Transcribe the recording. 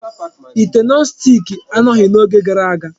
Ite nọn stiki anọghị n'oge gara aga.